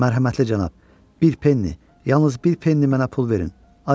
Mərhəmətli cənab, bir penni, yalnız bir penni mənə pul verin, acam.